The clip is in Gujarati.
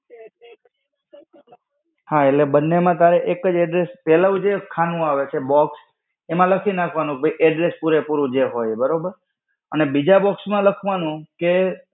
હા એટલે બંને માં તારે એક જ address, પહેલું જે ખાનું આવે છે box, એમાં લખી નાખવાનું કે address પુરે-પૂરું જે હોય એ, બરાબર. અને બીજા box માં લખવાનું કે,